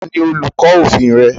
Ta ni olùkọ́ òfin rẹ